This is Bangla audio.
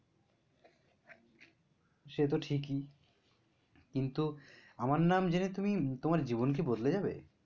সে তো ঠিকই কিন্তু আমার নাম জেনে তুমি তোমার জীবন কি বদলে যাবে?